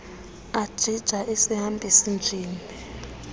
ajija isihambisi njini